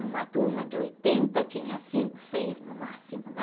Numa turma de oitenta, tinha cinco, seis no máximo, né?